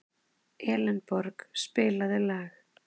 Elenborg, spilaðu lag.